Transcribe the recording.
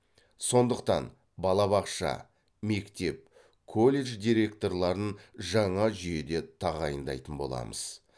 сондықтан балабақша мектеп колледж директорларын жаңа жүйеде тағайындайтын боламыз